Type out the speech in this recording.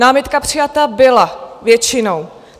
Námitka přijata byla většinou.